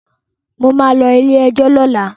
Mo ma lọ ilé-ẹjọ̀ lọ́la